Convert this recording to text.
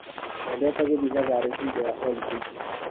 Twendete gũthĩi thabarĩ hingo ya holidĩ nguhĩ.